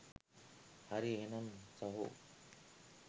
හරි එහෙනම් සහෝ